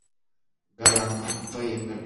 гарант поехали